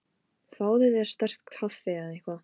Fáðu þér sterkt kaffi eða eitthvað.